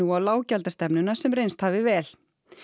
á lággjaldastefnuna sem reynst hafi vel